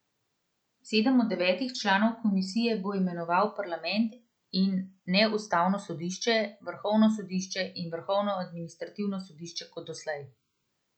Sedem od devetih članov komisije bo imenoval parlament, in ne ustavno sodišče, vrhovno sodišče in vrhovno administrativno sodišče kot doslej.